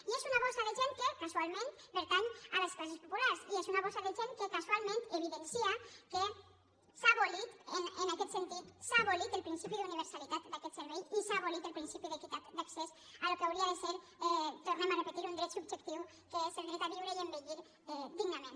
i és una bossa de gent que casualment pertany a les classes populars i és una bossa de gent que casualment evidencia que en aquest sentit s’ha abolit el principi d’universalitat d’aquest servei i que s’ha abolit el principi d’equitat d’accés al que hauria de ser ho tornem a repetir un dret subjectiu que és el dret a viure i envellir dignament